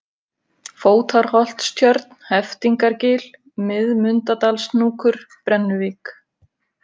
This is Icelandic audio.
Fótarholtstjörn, Heftingargil, Miðmundadalshnúkur, Brennuvík